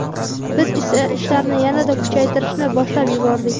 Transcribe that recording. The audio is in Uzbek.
Biz esa ishlarni yanada kuchaytirishni boshlab yubordik.